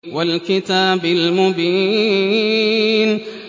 وَالْكِتَابِ الْمُبِينِ